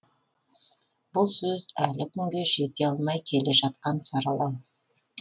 бұл сөз әлі күнге жете алмай келе жатқан саралау